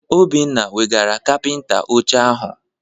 Obinna weghara kapịnta oche ahụ.